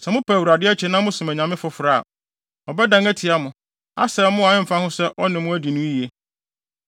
Sɛ mopa Awurade akyi na mosom anyame foforo a, ɔbɛdan atia mo, asɛe mo a ɛmfa ho sɛ ɔne mo adi no yiye.”